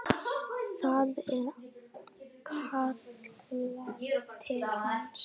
Það er kallað til hans.